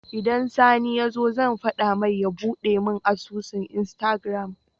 Idan sani yazo zan fada mai ya buɗe me asusun instagram